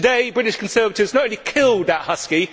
Today, British Conservatives have not only killed that husky.